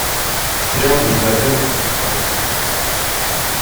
сериал друзья первый сезон вторая серия